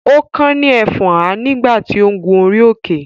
ó kán ní ẹfọ́nhà nígbà tí ó ń gun orí-òkè.